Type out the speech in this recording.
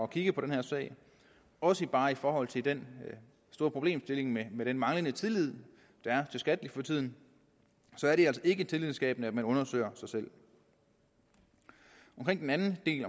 kigge på den her sag også bare i forhold til den store problemstilling med med den manglende tillid der er til skat for tiden er det altså ikke tillidsskabende at man undersøger sig selv omkring den anden del